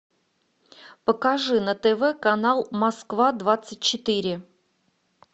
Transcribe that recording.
покажи на тв канал москва двадцать четыре